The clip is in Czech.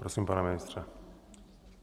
Prosím, pane ministře.